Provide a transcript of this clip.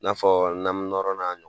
n'a fɔ namunɔrɔna.